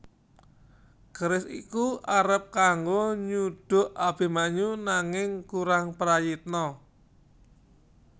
Keris iku arep kanggo nyuduk Abimanyu nanging kurang prayitna